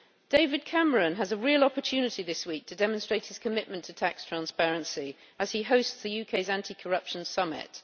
David Cameron has a real opportunity this week to demonstrate his commitment to tax transparency as he hosts the UK Anti Corruption Summit.